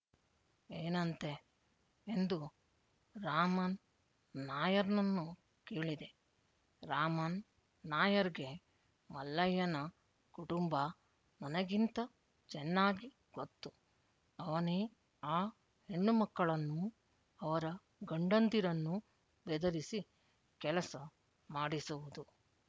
ಏನಂತೆ ಎಂದು ರಾಮನ್ ನಾಯರ್‌ನನ್ನು ಕೇಳಿದೆ ರಾಮನ್ ನಾಯರ್‌ಗೆ ಮಲ್ಲಯ್ಯನ ಕುಟುಂಬ ನನಗಿಂತ ಚೆನ್ನಾಗಿ ಗೊತ್ತು ಅವನೇ ಆ ಹೆಣ್ಣುಮಕ್ಕಳನ್ನೂ ಅವರ ಗಂಡಂದಿರನ್ನೂ ಬೆದರಿಸಿ ಕೆಲಸ ಮಾಡಿಸುವುದು